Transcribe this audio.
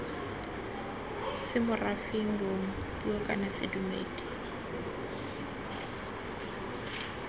semorafeng bong puo kana sedumedi